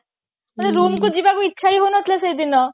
ଯିବାକୁ ଇଚ୍ଛା ହିଁ ହଉନଥିଲା ସେଦିନ